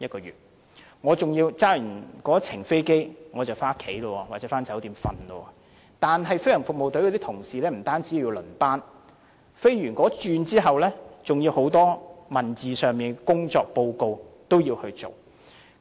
如果在後者工作，駕駛飛機後便可回家或酒店休息，但飛行服務隊的同事不單要輪班，駕駛飛機後還要提交工作報告。